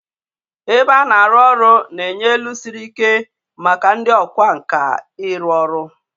Ebe a na-arụ ọrụ na-enye elu siri ike maka ndị ọkwá nkà ịrụ ọrụ